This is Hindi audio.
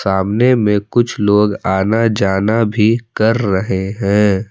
सामने में कुछ लोग आना जाना भी कर रहे हैं।